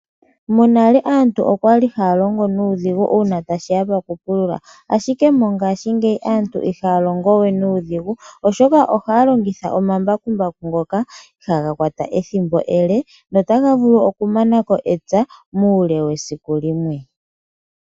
Monale aantu okwali haya longo nuudhigu uuna tashiya po ku pulula ashike mongaashingeyi aantu ihaya longo we nuudhigu oshoka ohaya longitha omambakumbaku iha ga kwata ethimbo ele notaga vulu okumanako epya muule wesiku limwe.